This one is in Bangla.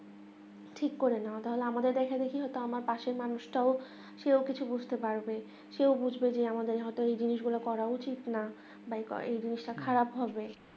ঠিক করে নেওয়া তাহলে আমাদের এবং কি আমার পাশের মানুষ তাও সেও কিছু বুঝতে পারবে সেও বুঝবে যে আমাদের হাতে এই জিনিস গুলো করে উচিত না বা এই জিনিস টা খারাপ হবে